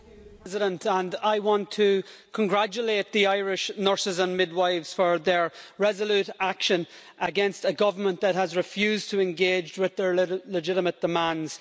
Mr President, I want to congratulate the Irish Nurses and Midwives for their resolute action against a government that has refused to engage with their legitimate demands.